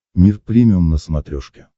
мир премиум на смотрешке